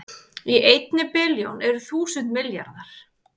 Í einni billjón eru þúsund milljarðar